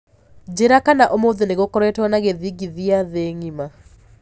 njĩĩra kana ũmũthĩ nigukoretwo na githingithia thĩĩ ng'ima